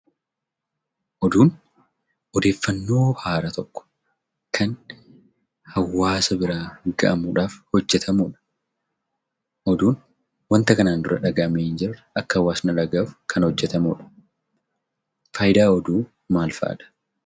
Oduun; ooddeefannoo haaraa tokko Kan hawaasa biraan ga'amuudhaaf hojetamuudha. Oduun wanta kana duraa dhaga'ame hn jirree akka hawaasni dhaga'uuf Kan hojetamuudha. Faayidaan oduu maal fa'adha?